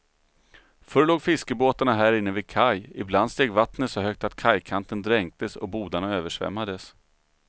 Förr låg fiskebåtarna här inne vid kaj, ibland steg vattnet så högt att kajkanten dränktes och bodarna översvämmades.